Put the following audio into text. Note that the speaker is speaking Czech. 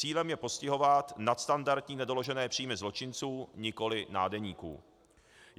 Cílem je postihovat nadstandardní nedoložené příjmy zločinců, nikoli nádeníků.